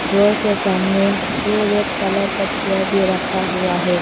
Door के सामने दो रेड कलर का चेयर भी रखा हुआ है।